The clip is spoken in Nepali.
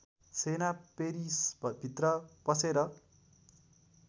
सेना पेरिसभित्र पसेर